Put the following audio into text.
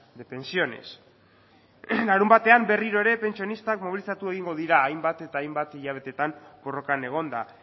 de pensiones larunbatean berriro ere pentsionistak mobilizatu egingo dira hainbat eta hainbat hilabeteetan borrokan egonda